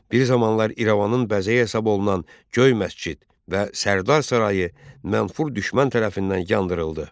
Bir zamanlar İrəvanın bəzəyi hesab olunan Göy məscid və Sərdar sarayı mənfur düşmən tərəfindən yandırıldı.